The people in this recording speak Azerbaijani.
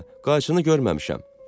qarşını görməmişəm.